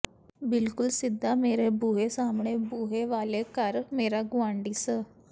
ਬਿਲਕੁਲ ਸਿੱਧਾ ਮੇਰੇ ਬੂਹੇ ਸਾਹਮਣੇ ਬੂਹੇ ਵਾਲੇ ਘਰ ਮੇਰਾ ਗੁਆਂਢੀ ਸ